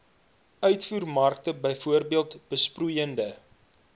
uitvoermark bv besproeide